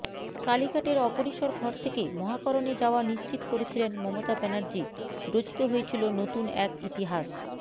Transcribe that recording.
কালীঘাটের অপরিসর ঘর থেকে মহাকরণে যাওয়া নিশ্চিত করেছিলেন মমতা ব্যানার্জি রচিত হয়েছিল নতুন এক ইতিহাস